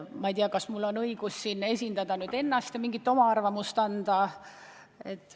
Ma ei tea, kas mul on õigus siin vaid ennast esindada ja oma arvamust avaldada.